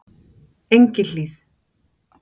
Engihlíð